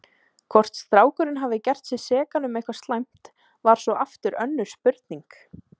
Hvort strákurinn hafði gert sig sekan um eitthvað slæmt var svo aftur önnur spurning.